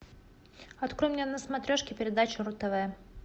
открой мне на смотрешке передачу ру тв